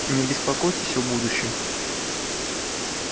не беспокойтесь о будущем